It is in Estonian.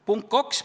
Punkt kaks.